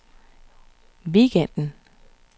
weekenden